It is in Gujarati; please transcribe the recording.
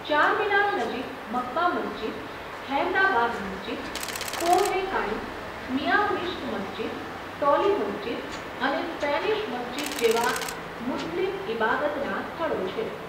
ચારમીનાર નજીક મક્કા મસ્જિદ, ખૈરતાબાદ મસ્જિદ, કોહ એ કાઈમ, મિયાં મિશ્ક મસ્જિદ, ટોલી મસ્જિદ અને સ્પેનિશ મસ્જિદ જેવાં મુસ્લિમ ઈબાદતનાં સ્થળો છે.